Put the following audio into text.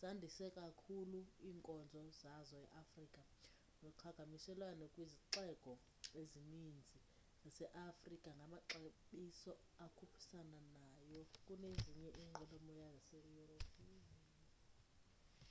zandise kakhulu iinkonzo zazo eafrika noqhakamshelwano kwizixeko ezininzi zase afrika ngamaxabiso akhuphisana nayo kunezinye inwelomoya zase europe